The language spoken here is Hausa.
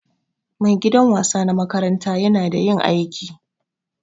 maigidan wasa na makaranta yana da yin aiki.